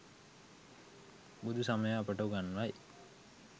බුදුසමය අපට උගන්වයි.